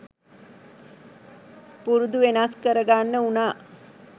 පුරුදු වෙනස් කරගන්න වුණා.